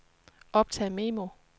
optag memo